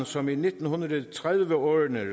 som i nitten tredive årene